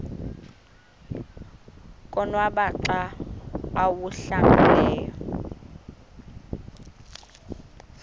konwaba xa awuhlambileyo